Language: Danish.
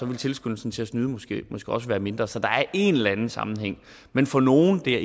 ville tilskyndelsen til at snyde måske også være mindre så der er en eller anden sammenhæng men for nogle det er